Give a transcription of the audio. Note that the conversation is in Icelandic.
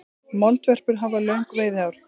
Moldvörpur hafa löng veiðihár.